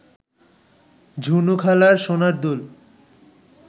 ঝুনুখালার সোনার দুল